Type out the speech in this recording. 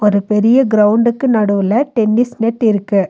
ஒரு பெரிய கிரவுண்டுக்கு நடுவுல டென்னிஸ் நெட் இருக்கு.